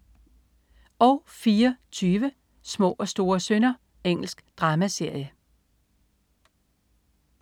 04.20 Små og store synder. Engelsk dramaserie